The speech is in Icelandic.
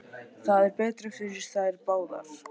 Það er betra fyrir þær báðar.